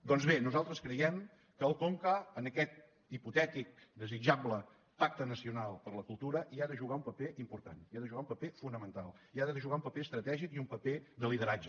doncs bé nosaltres creiem que el conca en aquest hipotètic desitjable pacte nacional per la cultura hi ha de jugar un paper important hi ha de jugar un paper fonamental hi ha de jugar un paper estratègic i un paper de lideratge